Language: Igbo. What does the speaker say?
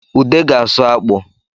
Ude ga-asụ akpụ